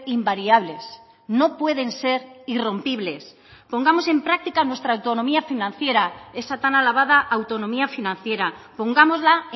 invariables no pueden ser irrompibles pongamos en práctica nuestra autonomía financiera esa tan alabada autonomía financiera pongámosla